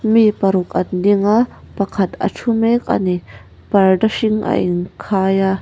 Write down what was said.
mi paruk an ding a pakhat a thu mek a ni parda hring a in khai a.